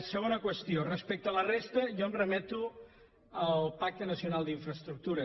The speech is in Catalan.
segona qüestió respecte a la resta jo em remeto al pacte nacional d’infraestructures